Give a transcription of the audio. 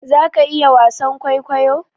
za ka iya wasan kwaikwayo?